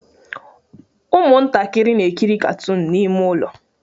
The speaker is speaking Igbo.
Ụmụntakịrị na-ekiri katoon n'ime ụlọ